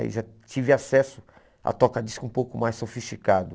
Aí já tive acesso a toca-disco um pouco mais sofisticado.